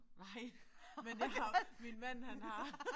Nej men det har min mand han har